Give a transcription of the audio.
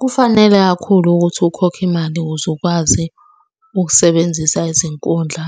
Kufanele kakhulu ukuthi ukhokhe imali ukuze ukwazi ukusebenzisa izinkundla